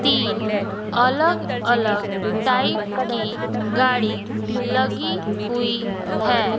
तीन अलग अलग टाइप की गाड़ी लगी हुई है।